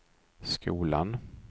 skolan